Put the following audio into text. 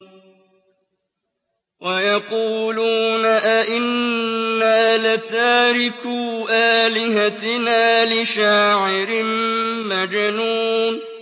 وَيَقُولُونَ أَئِنَّا لَتَارِكُو آلِهَتِنَا لِشَاعِرٍ مَّجْنُونٍ